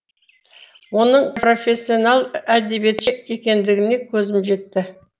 оның профессионал әдебиетші екендігіне көзім жетті